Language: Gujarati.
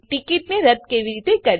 અને ટીકીટને રદ્દ કેવી રીતે કરવી